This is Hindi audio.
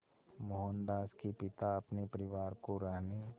मोहनदास के पिता अपने परिवार को रहने